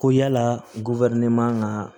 Ko yala man ka